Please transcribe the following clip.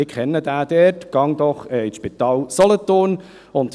«Ich kenne den dort, geh doch ins Spital Solothurn.»